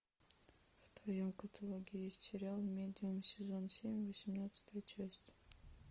в твоем каталоге есть сериал медиум сезон семь восемнадцатая часть